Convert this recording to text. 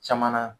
Caman na